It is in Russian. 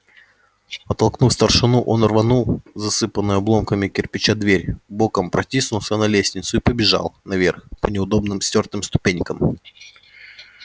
оттолкнув старшину он рванул засыпанную обломками кирпича дверь боком протиснулся на лестницу и побежал наверх по неудобным стёртым ступенькам